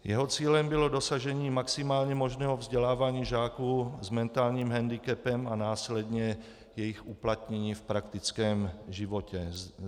Jeho cílem bylo dosažení maximálně možného vzdělávání žáků s mentálním hendikepem a následně jejich uplatnění v praktickém životě.